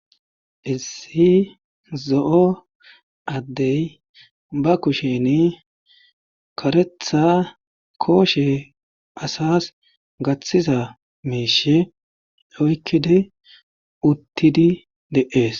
issi zo7o addey ba kusheni karetha kooshe asas gaththiza meeshe oykkidi uttidi de7ees